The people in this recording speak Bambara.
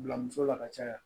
Bila muso la ka caya